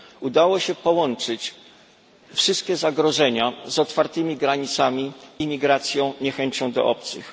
Udało się połączyć wszystkie zagrożenia z otwartymi granicami, imigracją, niechęcią do obcych.